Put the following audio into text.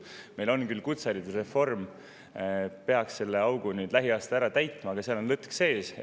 Meil on küll kutseharidusreform, mis peaks selle augu lähiaastatel ära täitma, aga seal on lõtk sees.